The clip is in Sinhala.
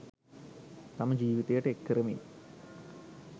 තම ජීවිතයට එක්කරමින්